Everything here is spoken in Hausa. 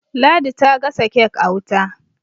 ladi ta gasa kek a wuta